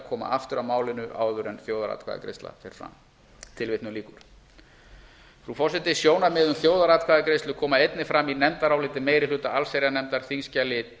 að koma aftur að málinu áður en þjóðaratkvæðagreiðsla fer fram frú forseti sjónarmið um þjóðaratkvæðagreiðslu koma einnig fram í nefndaráliti meiri hluta allsherjarnefndar